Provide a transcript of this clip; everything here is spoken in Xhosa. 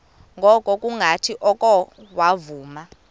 ngokungathi oko wavuma